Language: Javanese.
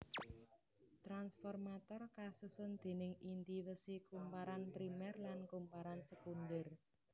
Tranformator kasusun déning inti wesi kumparan primer lan kumparan sekunder